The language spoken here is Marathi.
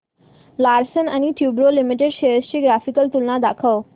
लार्सन अँड टुर्बो लिमिटेड शेअर्स ची ग्राफिकल तुलना दाखव